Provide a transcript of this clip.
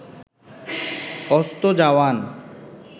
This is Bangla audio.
অস্ত যাওয়ান